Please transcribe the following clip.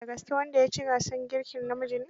Da gaske wanda ya ci gasar girkin namiji ne?